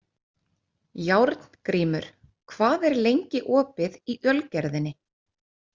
Járngrímur, hvað er lengi opið í Ölgerðinni?